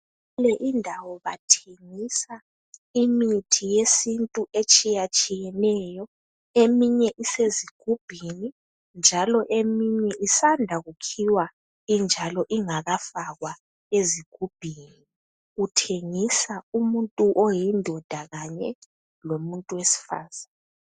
Kule indawo bathengiswa imithi yesintu etshiyatshiyeneyo. Eminye isezigubhini, njalo eminye isanda kukhiwa injalo ingakafakwa ezigubhini. Kuthengisa umuntu oyindoda kanye lowesifazana